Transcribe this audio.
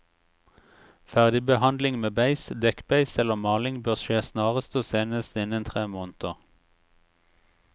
Ferdigbehandling med beis, dekkbeis eller maling bør skje snarest og senest innen tre måneder.